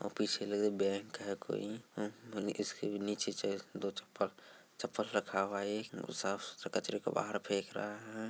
और पीछे लगा है बैंक है कोई | अ और इसके नीचे शायद दो चप्पल-चप्पल रखा हुआ है। साफ़-सूथरा कर कचरे को बाहर फेक रहा है |